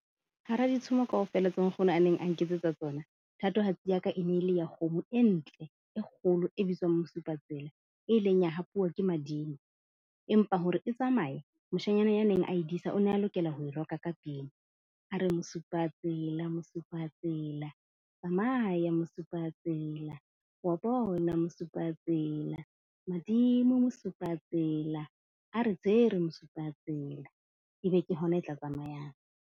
Hara ditshomo kaofela tseo nkgono a neng a nketsetsa tsona thatohatsi ya ka e ne e le ya kgomo e ntle e kgolo e bitswang Mosupatsela e ileng ya hapuwa ke madimo. Empa hore e tsamaye, moshanyana ya neng a e disa o ne a lokela ho e roka ka pina, a re Mosupatsela, Mosupatsela tsamaya Mosupatsela, wa bona Mosupatsela madimo Mosupatsela, a re tshwere Mosupatsela. E be ke hona e tla tsamayang.